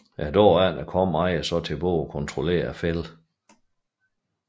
Næste dag kommer ejeren så tilbage og kontrollerer fælden